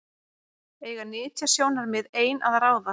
Eiga nytjasjónarmið ein að ráða?